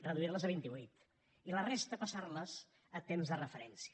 reduir les a vint i vuit i la resta passar les a temps de referència